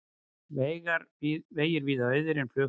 Vegir víða auðir en flughált